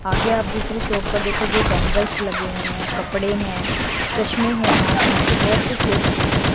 आगे आप दूसरी शॉप पर देखोगे बैंगल्स लगे हुए हैं कपड़े हैं चश्मे हैं आप यहां से बहुत कुछ ले सकते हो।